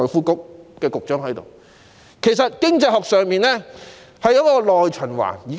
經濟學有一種觀點是所謂的"內循環"。